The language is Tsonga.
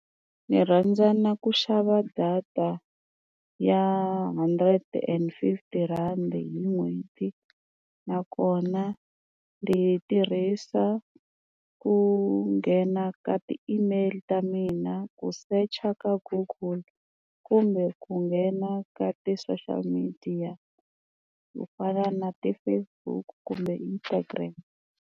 Ni rhandza na ku xava data ya hundred and fifty rand hi n'hweti nakona ni tirhisa ku nghena ka ti-email t ta mina ku secha ka google kumbe ku nghena ka ti-social media ku fana na ti-Facebook kumbe Instagram.